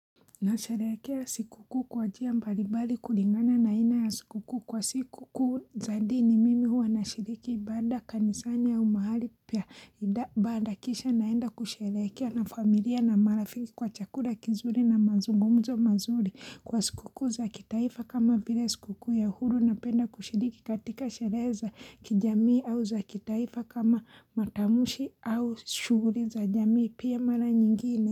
Na sherekea sikuku kwa njia mbalimbali kulingana na aina ya sikukuu kwa siku kuu zadini mimi huwa na shiriki ibada kanisani ya umahali pia bada kisha naenda kusherekea na familia na marafiki kwa chalura kizuri na mazungumzo mazuri kwa sikukuu za kitaifa kama vile sikukuu ya uhuru napenda kushiriki katika sherehe za kijamii au za kitaifa kama matamshi au shughuli za jamii pia mara nyingine.